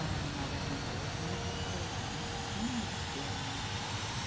Ah, maravilhoso, muito esperado, muito esperado.